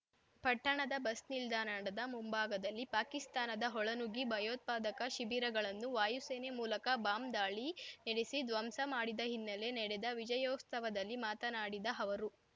ಪಟ್ಟಣದ ಬಸ್‌ ನಿಲ್ದಾಡ್ಣದ ಮುಂಭಾಗದಲ್ಲಿ ಪಾಕಿಸ್ತಾನದ ಒಳನುಗ್ಗಿ ಭಯೋತ್ಪಾದಕ ಶಿಬಿರಗಳನ್ನು ವಾಯುಸೇನೆ ಮೂಲಕ ಬಾಂಬ್‌ ದಾಳಿ ನೆಡೆಸಿ ದ್ವಂಸ ಮಾಡಿದ ಹಿನ್ನೆಲೆ ನೆಡೆದ ವಿಜಯೋತ್ಸವದಲ್ಲಿ ಮಾತನಾಡಿ ಅವರು